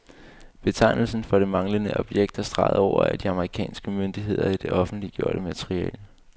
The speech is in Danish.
Betegnelsen for det manglende objekt er streget over af de amerikanske myndigheder i det offentliggjorte materiale.